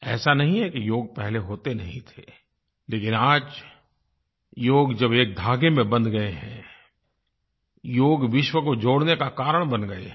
ऐसा नहीं है कि योग पहले होता नहीं था लेकिन आज जब योग के धागे में बंध गए हैं योग विश्व को जोड़ने का कारण बन गया है